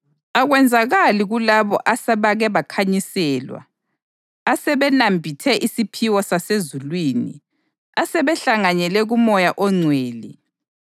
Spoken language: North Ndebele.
Akwenzakali kulabo asebake bakhanyiselwa, asebenambithe isipho sasezulwini, asebehlanganyele kuMoya oNgcwele,